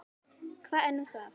Hvað er nú það?